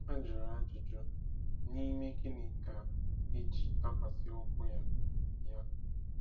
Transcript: A jụrụ ajụjụ: “N’ime gịnị ka e ji dakwasị ụkwụ ya?” ya?”